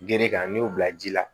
Gere kan n'i y'o bila ji la